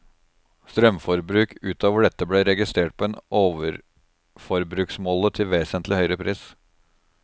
Strømforbruk ut over dette ble registrert på en overforbruksmåler til vesentlig høyere pris.